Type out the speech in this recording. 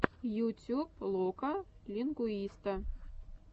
ютюб лока лингуиста